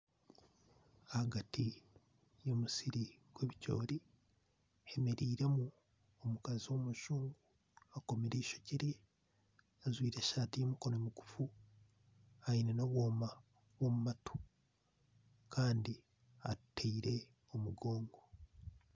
Ahagati y'omusiri gw'ebikyoori hemereiremu omukazi w'omujungu akomire eishokye rye, ajwaire esaati y'emikono migufu, aine n'obwoma bw'omu matu, kandi atuteire omugongo.